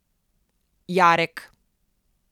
Jarek.